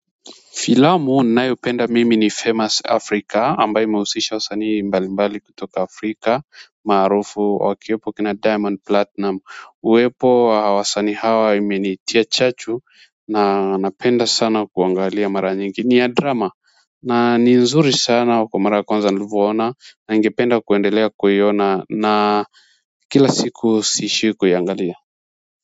Filamu ninayopenda mimi ni famous Africa ambayo imehusisha wasanii mbalimbali kutoka Afrika maarufu wakiwepo kina diamond platinum uwepo wa wasanii hawa imenitia chachu na napenda sana kuangalia mara nyingi ni ya drama na ni nzuri sana kwa mara ya kwanza nilivoona na ningependa kuendelea kuiona na kila siku siishi kuiangalia.